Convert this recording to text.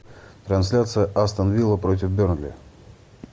трансляция астон вилла против бернли